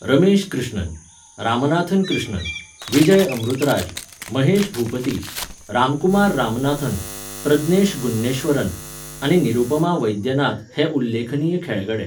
रमेश कृष्णन, रामनाथन कृष्णन, विजय अमृतराज, महेश भूपती, रामकुमार रामनाथन, प्रज्ञेश गुन्नेश्वरन, आनी निरुपमा वैद्यनाथन हे उल्लेखनीय खेळगडे.